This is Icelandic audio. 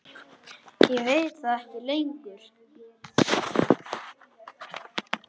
Ég veit það ekki lengur.